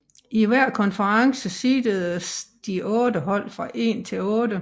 I hver konference seededes de otte hold fra 1 til 8